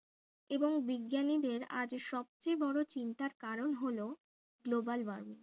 এবং বিজ্ঞানীদের আজ সবচেয়ে বড়ো চিন্তার কারণ হলো global warming